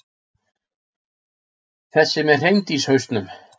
Þessi með hreindýrshausnum.